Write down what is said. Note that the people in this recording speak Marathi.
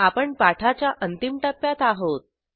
आपण पाठाच्या अंतिम टप्प्यात आहोत